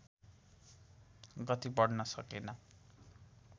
गति बढ्न सकेन